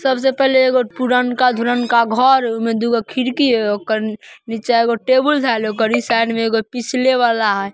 --सबसे पहले एगो पुरनका धूरनका का घर ओमें दुगो खिड़की है ओकर नीचे को टेबल धइल हाउ साइड में एक पिछला वाला है।